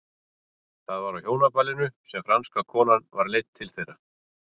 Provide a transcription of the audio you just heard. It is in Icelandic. Það var á hjónaballinu sem franska konan var leidd til þeirra.